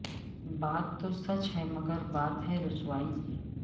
بات تو سچ ہے مگر بات ہے رسوائی کی